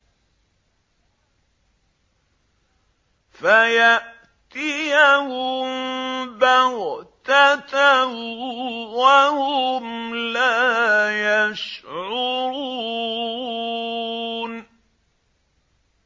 فَيَأْتِيَهُم بَغْتَةً وَهُمْ لَا يَشْعُرُونَ